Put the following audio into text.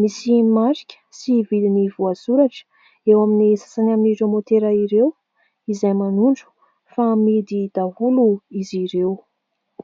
Misy marika sy vidiny voasoratra eo amin'ny sasany amin'ireo motera ireo, izay manondro fa amidy daholo izy ireo.